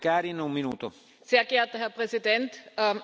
Sehr geehrter Herr Präsident, Frau Kommissarin!